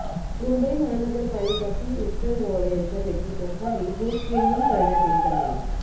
मुंबई महानगरपालिका पी उत्तर वॉर्ड यांच्या नेतृत्वाखाली हे स्क्रीनिंग करण्यात येत आहे